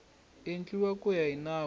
endliwa ku ya hi nawu